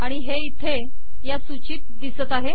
आणि हे इथे ह्या सूचीत दिसत आहे